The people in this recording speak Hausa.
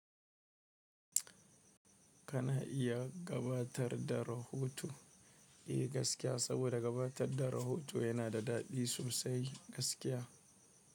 Kana iya gabatar da rahoto, eh gaskiya saboda gabatar da rahoto yana da daɗi sosai gaskiya.